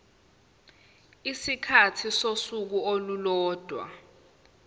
isikhathi sosuku olulodwa